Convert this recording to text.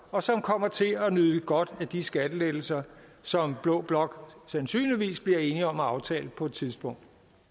og som kommer til at nyde godt af de skattelettelser som blå blok sandsynligvis bliver enige om at aftale på et tidspunkt